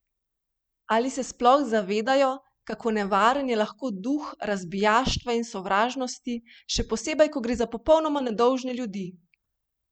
Ali se sploh zavedajo, kako nevaren je lahko duh razbijaštva in sovražnosti, še posebej, ko gre za popolnoma nedolžne ljudi?